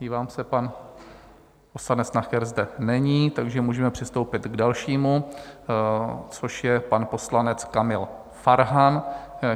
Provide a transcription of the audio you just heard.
Dívám se, pan poslanec Nacher zde není, takže můžeme přistoupit k dalšímu, což je pan poslanec Kamal Farhan,